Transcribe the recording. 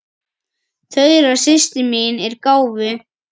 Þura systir mín er gáfuð.